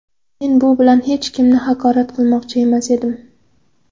Men bu bilan hech kimni haqorat qilmoqchi emas edim.